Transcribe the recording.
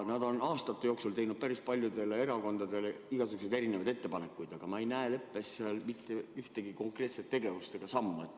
Nad on aastate jooksul teinud päris paljudele erakondadele igasuguseid erinevaid ettepanekuid, aga ma ei näe leppes veel mitte ühtegi konkreetset tegevust ega sammu.